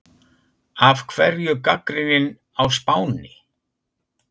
Af hverju gagnrýnin á Spáni?